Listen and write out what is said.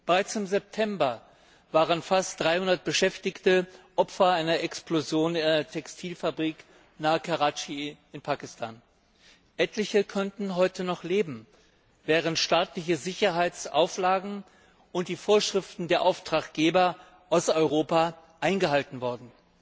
Bereits im September waren fast 300 Beschäftigte Opfer einer Explosion in einer Textilfabrik nahe Karatschi in Pakistan geworden. Etliche könnten heute noch leben, wären staatliche Sicherheitsauflagen und die Vorschriften der Auftraggeber aus Europa eingehalten worden.